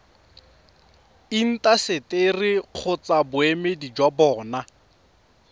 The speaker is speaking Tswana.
intaseteri kgotsa boemedi jwa bona